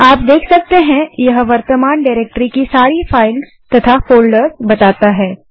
आप देख सकते हैं यह वर्तमान डाइरेक्टरी की सारी फाइल्स तथा फोल्डर्स बताता है